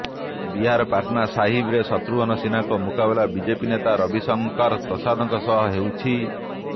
ବିହାର ପାଟନା ସାହିବରେ ଶତ୍ରୁଘ୍ନ ସିହ୍ନାଙ୍କ ମୁକାବିଲା ବିଜେପି ନେତା ରବିଶଙ୍କର ପ୍ରସାଦଙ୍କ ସହ ହେଉଛି